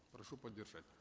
прошу поддержать